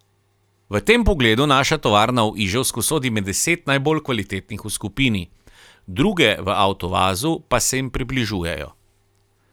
V tem pogledu naša tovarna v Iževsku sodi med deset najbolj kvalitetnih v skupini, druge v Avtovazu pa se jim približujejo.